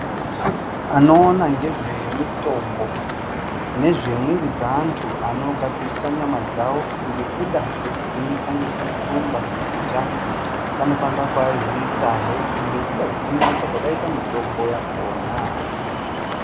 Anoona ngezvemitombo nezvemwiri dzeantu anogadzirisa nyama dzawo ngekuda kwekugwinyosa nekurumba nekujaha anofanira kuaziisahe nekuda kwekunaka kwakaita mitombo yakona.